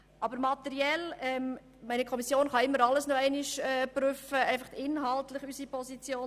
Die Kommission kann immer alles noch einmal prüfen.